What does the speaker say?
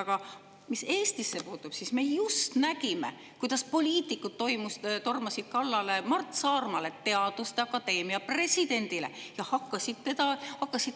Aga mis Eestisse puutub, siis me just nägime, kuidas poliitikud tormasid kallale Mart Saarmale, teaduste akadeemia presidendile, ja hakkasid